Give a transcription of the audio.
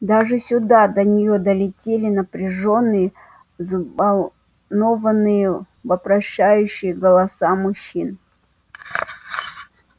даже сюда до неё долетели напряжённые взволнованные вопрошающие голоса мужчин